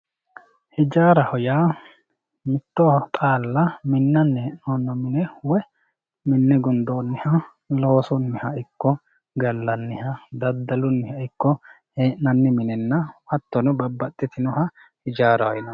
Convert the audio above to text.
ijaaraho yaa mitto xaala minanni he'nooni mine woye minne gudooniha loosunniha ikko gallanniha daddaluniha ikko he'nanni minenna hattono babbaxitinoha ijaaraho yonanni.